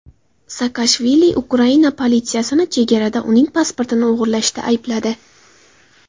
Saakashvili Ukraina politsiyasini chegarada uning pasportini o‘g‘irlashda aybladi.